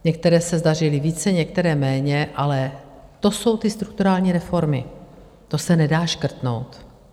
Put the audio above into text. Některé se zdařily více, některé méně, ale to jsou ty strukturální reformy, to se nedá škrtnout.